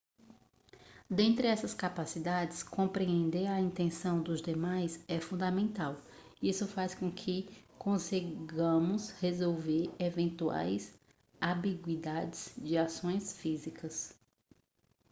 dentre essas capacidades compreender a intenção dos demais é fundamental isso faz com que consigamos resolver eventuais ambiguidades de ações físicas